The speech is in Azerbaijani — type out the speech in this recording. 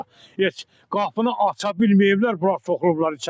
Heç qapını aça bilməyiblər, bular soxulublar içəri.